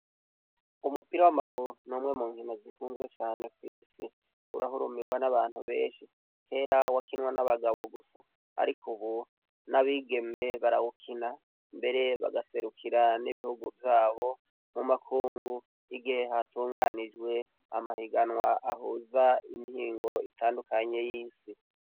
Umupira w'amaguru n'umwe mu mkima zikunzwe cane kw'isi urahurumirwa n'abantu benshi kera wakinwa n'abagabo gusa, ariko, ubu n'abigeme barawukina mbere bagaserukira n'ibihugu vyabo mu makungu igihe hatunganijwe amahiganwa ahuza impingo bo itandukanye y'isi.